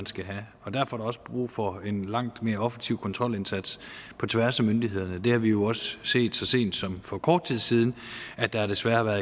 skal have og derfor er der også brug for en langt mere offensiv kontrolindsats på tværs af myndighederne det har vi jo også set så sent som for kort tid siden at der desværre